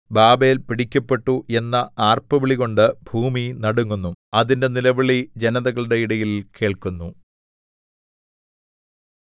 Babel പിടിക്കപ്പെട്ടു എന്ന ആർപ്പുവിളികൊണ്ട് ഭൂമി നടുങ്ങുന്നു അതിന്റെ നിലവിളി ജനതകളുടെ ഇടയിൽ കേൾക്കുന്നു